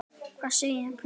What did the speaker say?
Segir hver?